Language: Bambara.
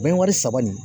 Bɛn wari saba nin